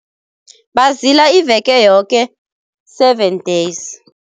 Bazila iveke yoke, seven days.